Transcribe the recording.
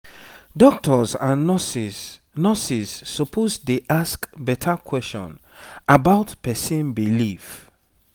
doctors and nurses nurses suppose dey ask better question about person belief